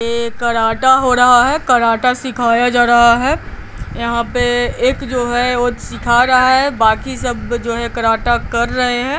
Karate हो रहा है कराटा सिखाया जा रहा है यहां पे एक जो है वो सिखा रहा है बाकी सब जो है कराटा कर रहे हैं।